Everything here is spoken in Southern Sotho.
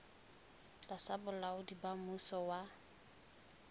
tlasa bolaodi ba mmuso wa